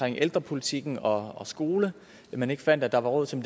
ældrepolitikken og skolerne man ikke fandt at der var råd til